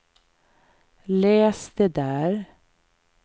läs det där